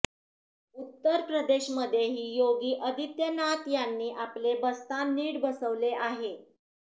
उत्तरप्रदेशमध्येही योगी आदित्यनाथ यांनी आपले बस्तान नीट बसवले आहे